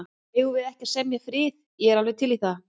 Eigum við ekki að semja frið. ég er alveg til í það.